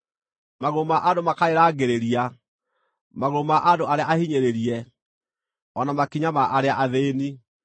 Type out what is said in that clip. Magũrũ ma andũ makarĩrangĩrĩria; magũrũ ma andũ arĩa ahinyĩrĩrie, o na makinya ma arĩa athĩĩni.